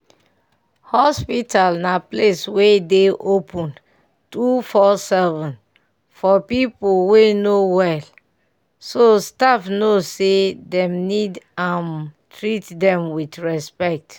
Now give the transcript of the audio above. hospital na place wey dey open 247 for peope wey no wellso staff no say dem need um treat dem with respect.